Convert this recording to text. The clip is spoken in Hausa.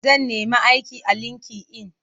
Zan nemi aiki a linki-in.